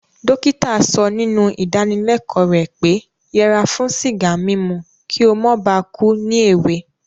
Dókítà so nínú ìdáníleko rẹ̀ pé yẹra fún sìgá mímu ki o mó ba ku ni èwe